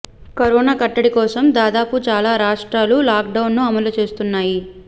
corona కట్టడి కోసం దాదాపు చాలా రాష్ట్రాలు లాక్ డౌన్ ను అమలు చేస్తున్నాయి